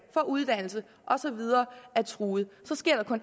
for uddannelse og så videre er truet